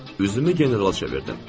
Üzümü generala çevirdim.